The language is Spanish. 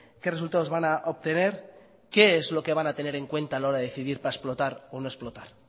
qué resultados van a obtener qué es lo que van a tener en cuenta a la hora de decidir para explotar o no explotar